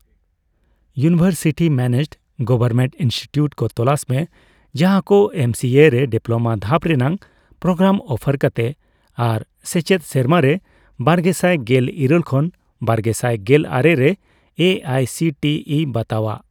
University managed government institute ᱠᱚ ᱛᱚᱞᱟᱥ ᱢᱮ ᱡᱟᱦᱟᱠᱚ ᱮᱢᱥᱤᱮ ᱨᱮ ᱰᱤᱯᱞᱳᱢᱟ ᱫᱷᱟᱯ ᱨᱮᱱᱟᱜ ᱯᱨᱳᱜᱨᱟᱢ ᱚᱯᱷᱟᱨ ᱠᱟᱛᱮ ᱟᱨ ᱥᱮᱪᱮᱫ ᱥᱮᱨᱢᱟᱨᱮ ᱵᱟᱨᱜᱮᱥᱟᱭ ᱜᱮᱞ ᱤᱨᱟᱹᱞ ᱠᱷᱚᱱ ᱵᱟᱨᱜᱮᱥᱟᱭ ᱜᱮᱞᱟᱨᱮ ᱨᱮ A I C T E ᱵᱟᱛᱟᱣᱟᱜ ᱾